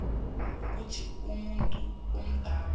ukuthi umuntu omdala